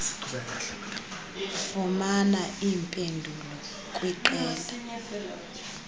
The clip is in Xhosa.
fumana iimpendulo kwiqela